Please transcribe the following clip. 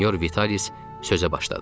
Senyor Vitalis sözə başladı.